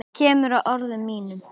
Kemur að orðum mínum.